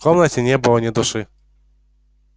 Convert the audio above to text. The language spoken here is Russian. в комнате не было ни души